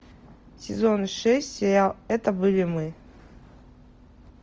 сезон шесть сериал это были мы